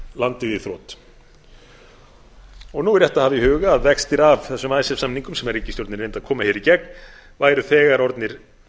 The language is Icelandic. landið í þrot nú er rétt að hafa í huga að vextir af þessum icesave samningum sem ríkisstjórnin reyndi að koma hér í gegn væru þegar orðnir